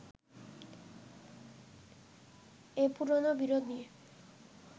এই পুরোনো বিরোধ নিয়ে